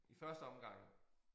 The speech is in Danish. I første omgang